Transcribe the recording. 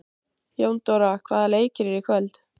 Jóndóra, hvaða leikir eru í kvöld?